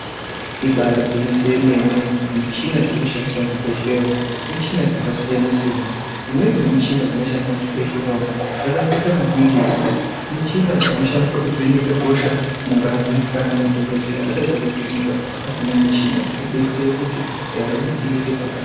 Ibaari gwinyiso remene michina dziri kushandisa muzvibhedhlera umwo michina dzakasiyana-siyana. Imweni yemuchina inoshandiswa muchibhedhlera umwo dzakakosha maningi. Michina dzinoshanda kuvheneka hosha mungazi kana madhokodheya atadza kuvheneka vasina michina, kudetsere kuti ndaramo iite pakanaka.